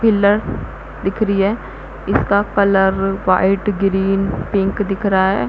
Pillar दिख री है इसका कलर व्हाइट ग्रीन पिंक दिख रा हैं।